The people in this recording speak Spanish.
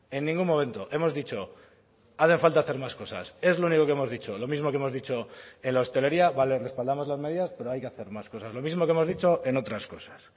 en ningún momento hemos dicho hace falta hacer más cosas es lo único que hemos dicho lo mismo que hemos dicho en la hostelería vale respaldamos las medidas pero hay que hacer más cosas lo mismo que hemos dicho en otras cosas